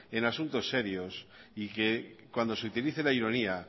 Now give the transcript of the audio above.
en asuntos serios y que cuando se utilice la ironía